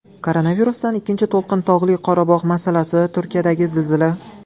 Koronavirusdan ikkinchi to‘lqin, Tog‘li Qorabog‘ masalasi, Turkiyadagi zilzila.